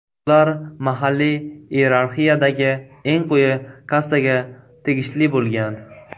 Ular mahalliy iyerarxiyadagi eng quyi kastaga tegishli bo‘lgan.